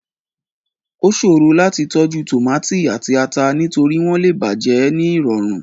Ó ṣòro láti tọ́jú tòmátì àti ata, nítorí wọ́n lè bàjẹ́ ní ìrọ̀rùn.